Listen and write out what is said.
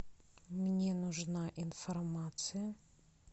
мне нужна информация